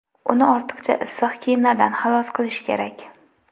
Uni ortiqcha issiq kiyimlardan xalos qilish kerak.